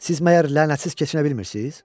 Siz məyər lənətsiz keçinə bilmirsiz?